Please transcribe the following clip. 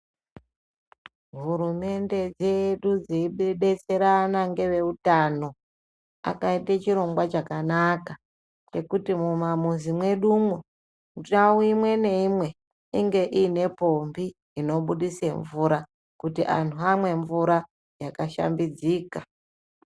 Hurumende dzedu dzeidetserana ngeveutano akaite chirongwa chakanaka chekuti mumamizi mwedumwo ndau imwe neimwe inenge iine pombi inobudise mvura kuti antu amwe mvura yakashambidzika.